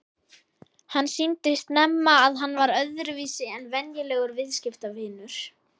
Hann sýndi snemma að hann var öðruvísi en venjulegur viðskiptavinur.